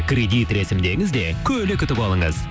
кредит рәсімдеңіз де көлік ұтып алыңыз